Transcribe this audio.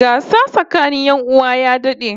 Gasa tsakanin 'yan uwa ya dad'e